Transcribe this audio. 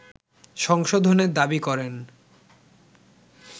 সংশোধনের দাবি করেন